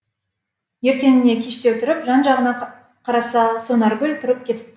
ертеңіне кештеу тұрып жан жағына қараса сонаргүл тұрып кетіпті